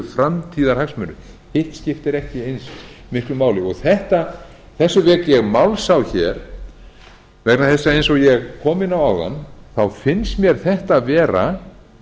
framtíðarhagsmunir hitt skiptir ekki eins miklu máli þessu vek ég máls á hér vegna þess að eins og ég kom inn á áðan finnst mér þetta vera